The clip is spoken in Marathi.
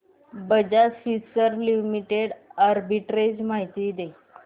बजाज फिंसर्व लिमिटेड आर्बिट्रेज माहिती दे